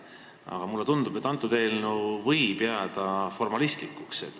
Aga mulle tundub, et see eelnõu võib jääda formalistlikuks.